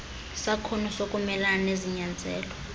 sakhono sokumelana nezinyanzeliso